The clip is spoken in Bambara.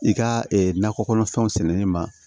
I ka nakɔ kɔnɔfɛnw sɛnɛni ma